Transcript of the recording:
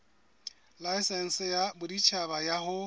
laesense ya boditjhaba ya ho